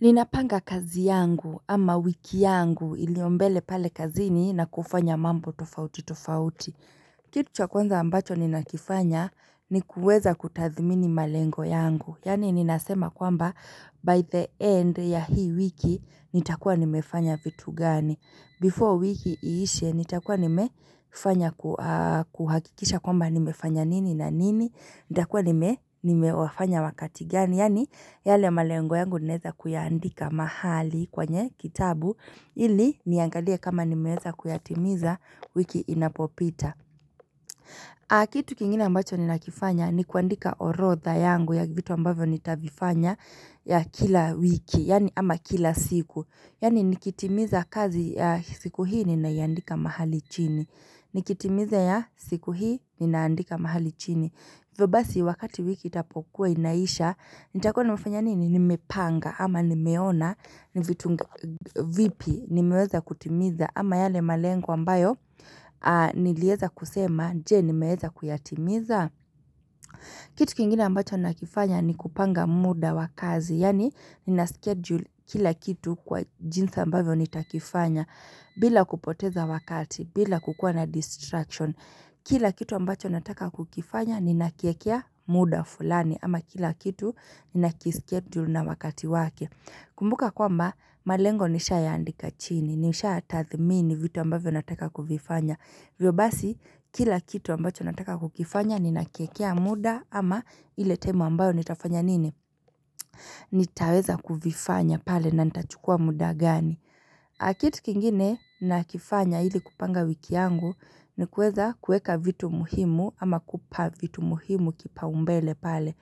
Ninapanga kazi yangu ama wiki yangu iliyo mbele pale kazini na kufanya mambo tofauti tofauti. Kitu cha kwanza ambacho ninakifanya ni kuweza kutathmini malengo yangu. Yaani ninasema kwamba by the end ya hii wiki nitakuwa nimefanya vitu gani. Before wiki iishe nitakuwa nimefanya kuhakikisha kwamba nimefanya nini na nini. Ntakuwa nime, nimewafanya wakati gani, yaani yale malengo yangu ninaeza kuiandika mahali kwenye kitabu ili niangalia kama nimeweza kuyatimiza wiki inapopita na kitu kingine ambacho ninakifanya ni kuandika orodha yangu ya vitu ambavyo nitavifanya ya kila wiki, yaani ama kila siku, yaani nikitimiza kazi ya siku hii ninaiandika mahali chini Nikitimiza ya siku hii ninaandika mahali chini. Hivyo basi wakati wiki itapokuwa inaisha, nitakuwa nimefanya nini? Nimepanga ama nimeona ni vitu vipi nimeweza kutimiza ama yale malengo ambayo nilieza kusema je, nimeweza kuyatimiza? Kitu kingine ambacho nakifanya ni kupanga muda wa kazi, yaani nina schedule kila kitu kwa jinsi ambavyo nitakifanya, bila kupoteza wakati, bila kukua na distraction. Kila kitu ambacho nataka kukifanya ninakiekea muda fulani, ama kila kitu ninakischedule na wakati wake. Kumbuka kwamba, malengo nishayaandika chini, nishayatathmini vitu ambavyo nataka kuvifanya. Hivyo basi, kila kitu ambacho nataka kukifanya ninakiekea muda ama ile tima ambayo nitafanya nini? Nitaweza kuvifanya pale na nitachukua muda gani. Na kitu kingine nakifanya ili kupanga wiki yangu ni kuweza kuweka vitu muhimu ama kupa vitu muhimu kipaumbele pale.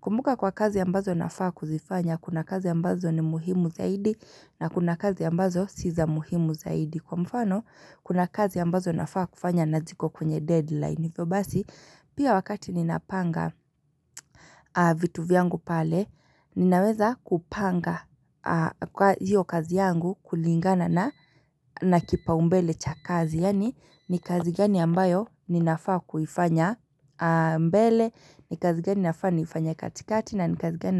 Kumbuka kwa kazi ambazo nafaa kuzifanya, kuna kazi ambazo ni muhimu zaidi na kuna kazi ambazo si za muhimu zaidi. Kwa mfano, kuna kazi ambazo nafaa kufanya na ziko kwenye deadline, hivyo basi, pia wakati ninapanga vitu vyangu pale, ninaweza kupanga hiyo kazi yangu kulingana na kipaumbele cha kazi. Yaani, ni kazi gani ambayo ninafaa kuifanya mbele ni kazi gani nafaa niifanye katikati na ni kazi gani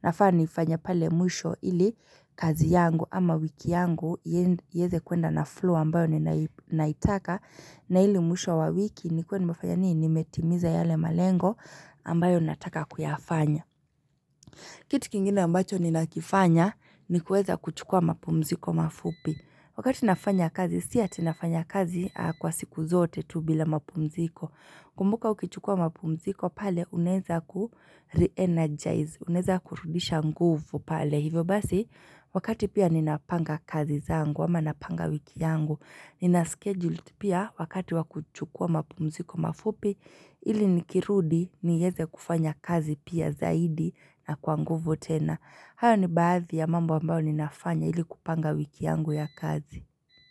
nafaa niifanye pale mwisho ili kazi yangu, ama wiki yangu iweze kuenda na flow ambayo ninaitaka na ili mwisho wa wiki nikuwe nimefanya nini? Nimetimiza yale malengo ambayo nataka kuyafanya. Kitu kingine ambacho ninakifanya ni kuweza kuchukua mapumziko mafupi. Wakati nafanya kazi si ati nafanya kazi kwa siku zote tu bila mapumziko Kumbuka ukichukua mapumziko pale unaeza ku re-energize. Unaeza kurudisha nguvu pale. Hivyo basi, wakati pia ninapanga kazi zangu, ama napanga wiki yangu, ninaschedule pia wakati wa kuchukua mapumziko mafupi, ili nikirudi nieze kufanya kazi pia zaidi na kwa nguvu tena. Hayo ni baadhi ya mambo ambayo ninafanya ili kupanga wiki yangu ya kazi.